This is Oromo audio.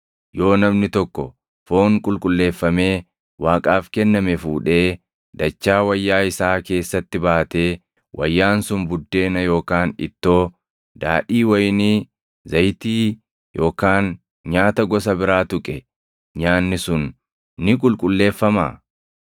yoo namni tokko foon qulqulleeffamee Waaqaaf kenname fuudhee dachaa wayyaa isaa keessatti baatee wayyaan sun buddeena yookaan ittoo, daadhii wayinii, zayitii yookaan nyaata gosa biraa tuqe, nyaanni sun ni qulqulleeffamaa?’ ” Luboonnis, “Waawuu” jedhanii deebisaniif.